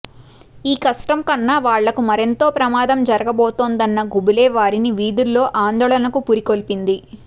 ఈ కష్టం కన్నా వాళ్ళకు మరెంతో ప్రమాదం జరుగబోతుందన్న గుబులే వారిని వీధుల్లో ఆందోళనకు పురికొల్పింది